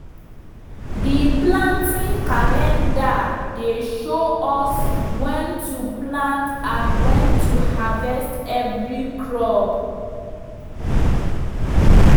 the planting calendar dey show us when to plant and when to harvest every crop.